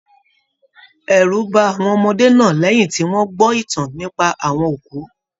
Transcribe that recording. Ẹrú bá àwọn ọmọdé náà lẹyìn tí wọn gbọ ìtàn nípa àwọn òkú.